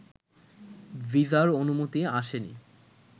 ভিসার অনুমতি আসেনি